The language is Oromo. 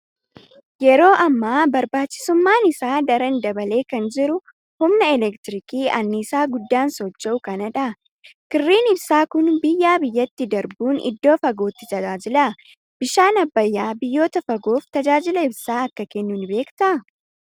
Yeroo ammaa barbaachisummaan isaa daran dabalee kan jiru humna elektirikii anniisaa guddaan socho'u kana dha. Kirriin ibsaa kun biyyaa biyyatti darbuun iddoo fagootti tajaajila. Bishaan Abbayyaa biyyoota fagoof tajaajila ibsaa akka kennu ni beektaa?